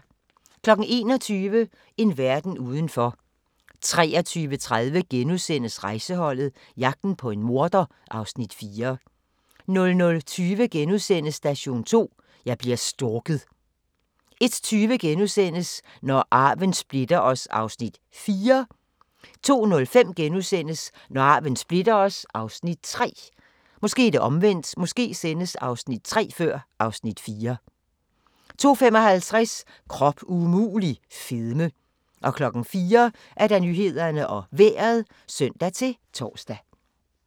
21:00: En verden udenfor 23:30: Rejseholdet - jagten på en morder (Afs. 4)* 00:20: Station 2: Jeg bliver stalket * 01:20: Når arven splitter os (Afs. 4)* 02:05: Når arven splitter os (Afs. 3)* 02:55: Krop umulig - fedme 04:00: Nyhederne og Vejret (søn-tor)